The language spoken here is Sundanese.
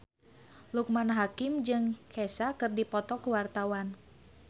Loekman Hakim jeung Kesha keur dipoto ku wartawan